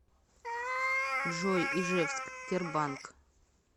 джой ижевск тербанк